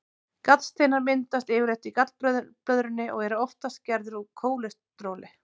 Gallsteinar myndast yfirleitt í gallblöðrunni og eru oftast gerðir úr kólesteróli.